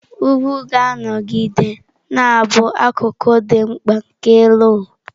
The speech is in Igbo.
Ugwu ga-anọgide na-abụ akụkụ dị mkpa nke elu ụwa.